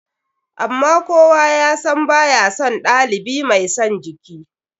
Amma kowa ya san ba ya son ɗalibi mai son jiki.